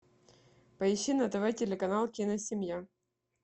поищи на тв телеканал киносемья